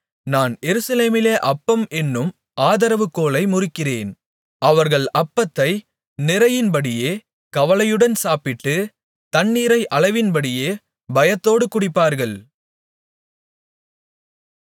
நான் எருசலேமிலே அப்பம் என்னும் ஆதரவுகோலை முறிக்கிறேன் அவர்கள் அப்பத்தை நிறையின்படியே கவலையுடன் சாப்பிட்டு தண்ணீரை அளவின்படியே பயத்தோடு குடிப்பார்கள்